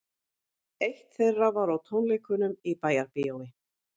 Eitt þeirra var á tónleikunum í Bæjarbíói